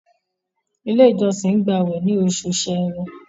ilé ìjósìn gba awẹ ní Oṣù Ṣẹ̀rẹ́